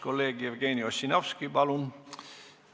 Kolleeg Jevgeni Ossinovski, palun!